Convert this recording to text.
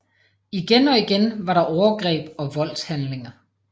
Igen og igen var der overgreb og voldshandlinger